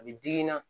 A bɛ digi n na